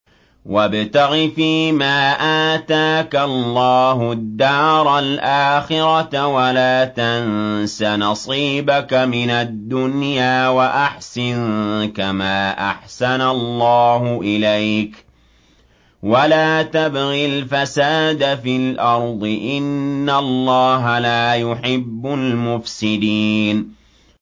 وَابْتَغِ فِيمَا آتَاكَ اللَّهُ الدَّارَ الْآخِرَةَ ۖ وَلَا تَنسَ نَصِيبَكَ مِنَ الدُّنْيَا ۖ وَأَحْسِن كَمَا أَحْسَنَ اللَّهُ إِلَيْكَ ۖ وَلَا تَبْغِ الْفَسَادَ فِي الْأَرْضِ ۖ إِنَّ اللَّهَ لَا يُحِبُّ الْمُفْسِدِينَ